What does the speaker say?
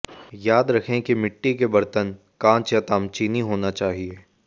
याद रखें कि मिट्टी के बरतन कांच या तामचीनी होना चाहिए